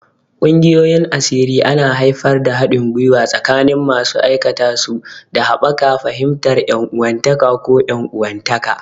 Ƙungiyoyin asiri ana haifar da haɗin gwiwa tsakanin masu aikatashi, da haɓaka fahimtar ƴan uwantaka ko 'yan uwantaka.